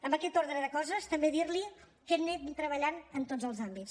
amb aquest ordre de coses també dir li que anem treballant en tots els àmbits